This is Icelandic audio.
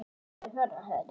Njótið heil.